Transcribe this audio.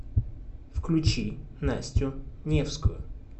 включи настю невскую